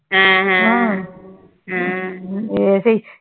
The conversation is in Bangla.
হ্যা হ্যা হ্যাঁ